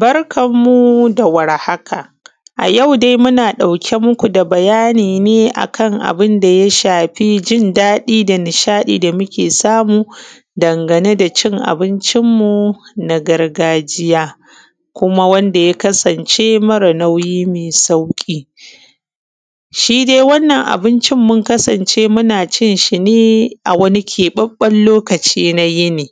Barkan mu da warhaka. A yau dai muna ɗauke muku da bayani ne akan abunda ya shafi jin daɗi da nishaɗi da muke samu dangane da cin abincin mu na gargajiya. Kuma wanda ya kasan ce mara nauyi mai sauƙi. Shi dai wannan abincin mun kasance muna cin shine a wani ƙaɓaɓɓen lokaci na yini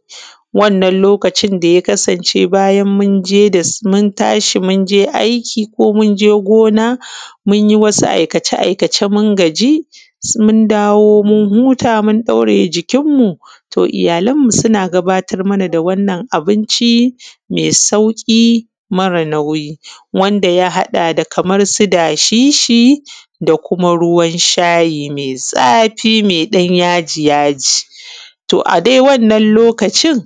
wanna lokacin ya kasance bayan mun tashi munyi wani aiki ko munje gona munyi aikace aikace mun gaji mun dawo mun huta mun ɗauraye jikin mu to iyyalan mu suna gabatar mana da wannan abinci mai sauƙi mara nauyi. Wanda ya haɗa da kamar su dashishi da kuma ruwan shayi mai zafi mai ɗan yaji yaji. To a dai wannan lokacin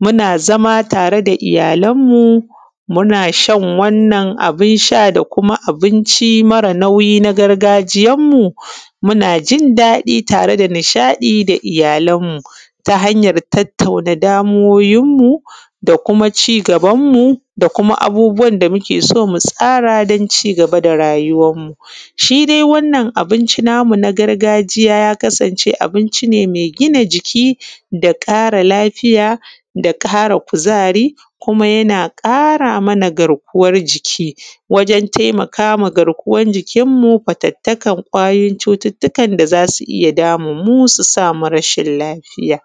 muna zama tare da iyyalan mu muna shan wannan abun sha da kuma abinci na gargajiya tare da iyyalan mu, muna ji daɗi tareda nishaɗi da iyyalan mu ta hanyan tattauna damuwoyin mu da kuma cigaban mu da kuma abubuwan da muke so mutsara domin cigaba da rayuwan mu. Shi dai wannan abinci namu na gargajiya ya kasan ce abinci ne mai gina jiki da ƙara lafiya da ƙara kuzari kuma yana ƙara mana garkuwan jiki, wajen taimakama garkuwan jikin mu wajen fatattakan kwayoyin cututtukan da zasu iyya damun mu su samu rashin lafiya.